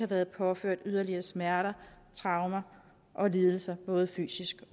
været påført yderligere smerter traumer og lidelser både fysisk